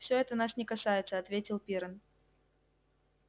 всё это нас не касается ответил пиренн